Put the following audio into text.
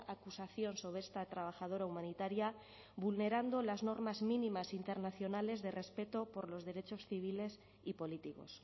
acusación sobre esta trabajadora humanitaria vulnerando las normas mínimas internacionales de respeto por los derechos civiles y políticos